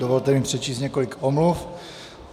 Dovolte mi přečíst několik omluv.